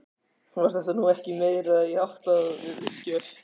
Var þetta nú ekki meira í ætt við uppgjöf?